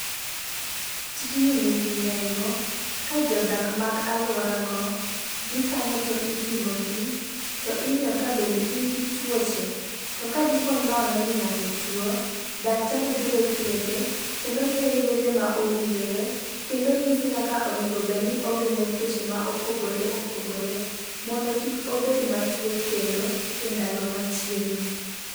Tijni nigi nengo ka jodak mag aluorago dhi kanyo to ipimo gi to ing'iyo ka bende gin gi tuoche. To ka di po nono ni ng'ato tuo daktari biro thiedhe kendo miye yedhe ma owinjore kendo nyise kaka onego bed ni ogeng'o tuoche ma opogore opogore mondo kik obed matuo kendo e ndalo machiegni.